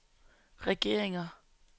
regeringer